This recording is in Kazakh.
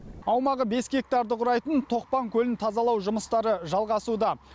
аумағы бес гектарды құрайтын тоқпан көлін тазалау жұмыстары жалғасуда